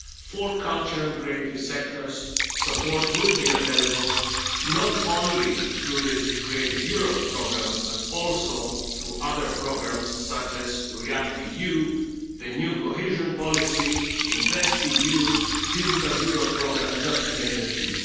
For culture and creative sectors, support will be available, not only through the Creative Europe programme, but also through other programmes, such as REACT-EU, the new Cohesion Policy, InvestEU, Digital Europe Programme, just to name a few.